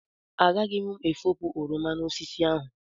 Agaghị m efopụ oroma n'osisi ahụ.